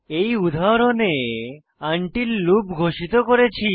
এই উদাহরণে until loop ঘোষিত করেছি